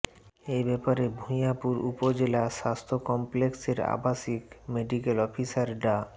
এ ব্যাপারে ভূঞাপুর উপজেলা স্বাস্থ্য কমপ্লেক্সের আবাসিক মেডিকেল অফিসার ডা